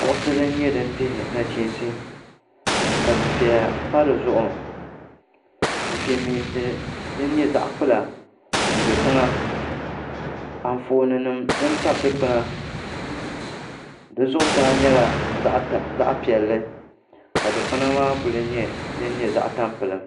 Kuɣusi din nyɛ din dihi nachiinsi ka dufɛya pa di zuɣu dufɛmeensi din nyɛ zaɣ' kpula n-do tiŋa anfooninima din tabi dikpuna di zuɣusaa nyɛla zaɣ' piɛlli ka dikpuna maa kuli nyɛ din nyɛ zaɣ' tampiliɡim